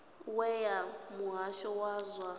we ya muhasho wa zwa